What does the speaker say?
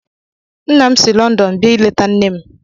Nna m si Lọndọn bịa ịleta nne m